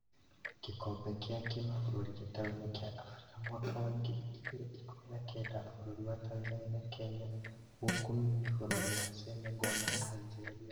Gĩkombe gĩa kĩmabũrũri gĩtaro-inĩ kĩa Afrika mwaka wa ngiri igĩrĩ ikũmi na kenda, bũrũri wa Tanzania na Kenya gũkomio nĩ bũrũri wa Senagal na Algeria